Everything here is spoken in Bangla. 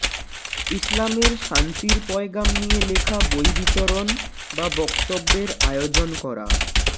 ইসলামের শান্তির পয়গাম নিয়ে লেখা বই বিতরণ বা বক্তব্যের আয়োজন করা